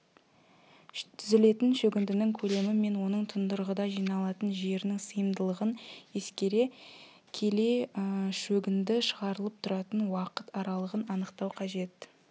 түзілетін шөгіндінің көлемі мен оның тұндырғыда жиналатын жерінің сыйымдылығын ескере келе шөгінді шығарылып тұратын уақыт аралығын анықтау қажет